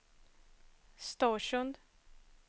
Storsund